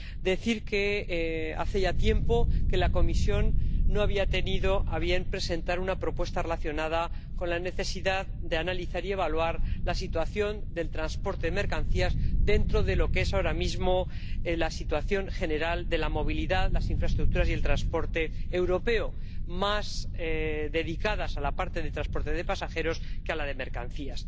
Quiero decir que hace ya tiempo que la Comisión no había tenido a bien presentar una propuesta relacionada con la necesidad de analizar y evaluar la situación del transporte de mercancías dentro de lo que es ahora mismo la situación general de la movilidad, las infraestructuras y el transporte europeo, más dedicada a la parte de transporte de pasajeros que a la de mercancías.